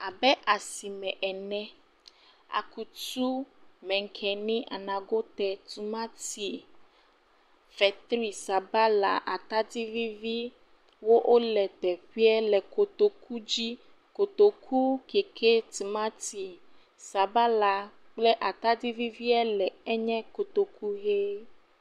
Abe asime ene, akutu, menkeni, anagote, tomati, fetri, sabala, atadi viviwo le teƒe le kotoku dzi. Kotoku ke xe sabala, tiomati kple atadi vivie le enye kotoku ʋi.